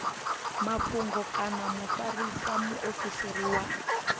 mafhungo kana mufarisa muofisiri wa